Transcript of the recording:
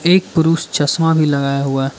एक पुरुष चश्मा भी लगाया हुआ--